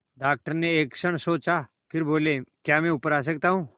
doctor ने एक क्षण सोचा फिर बोले क्या मैं ऊपर आ सकता हूँ